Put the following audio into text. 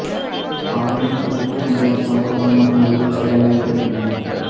ஆயினும் தவிர்க்க முடியாத சம்பவங்கள் மற்றும் உயிர்ச் சேதங்கள் ஏற்படுகின்றன